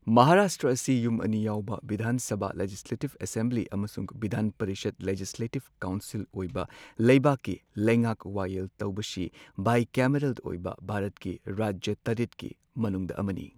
ꯃꯍꯥꯔꯥꯁꯇ꯭ꯔ ꯑꯁꯤ ꯌꯨꯝ ꯑꯅꯤ ꯌꯥꯎꯕ ꯕꯤꯙꯥꯟ ꯁꯚꯥ ꯂꯦꯖꯤꯁꯂꯦꯇꯤꯚ ꯑꯦꯁꯦꯝꯕ꯭ꯂꯤ ꯑꯃꯁꯨꯡ ꯕꯤꯙꯥꯟ ꯄꯔꯤꯁꯗ ꯂꯦꯖꯤꯁꯂꯦꯇꯤꯕ ꯀꯥꯎꯟꯁꯤꯜ ꯑꯣꯏꯕ ꯂꯩꯕꯥꯛꯀꯤ ꯂꯩꯉꯥꯛ ꯋꯥꯌꯦꯜ ꯇꯧꯕꯁꯤ ꯕꯥꯏꯀꯦꯃꯦꯔꯦꯜ ꯑꯣꯏꯕ ꯚꯥꯔꯠꯀꯤ ꯔꯥꯖ꯭ꯌ ꯇꯔꯦꯠꯀꯤ ꯃꯅꯨꯡꯗ ꯑꯃꯅꯤ꯫